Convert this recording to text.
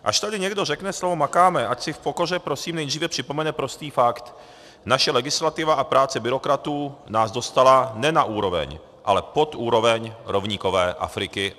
Až tady někdo řekne slovo makáme, ať si v pokoře prosím nejdříve připomene prostý fakt: Naše legislativa a práce byrokratů nás dostala ne na úroveň, ale pod úroveň rovníkové Afriky.